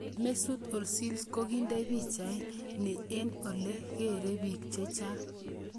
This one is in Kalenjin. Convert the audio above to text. Mesut Ozil kokinde pichait ni eng' ole gere biik chechang.